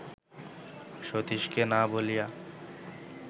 সতীশকে না বলিয়া